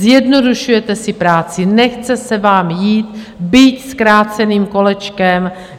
Zjednodušujete si práci, nechce se vám jít byť zkráceným kolečkem.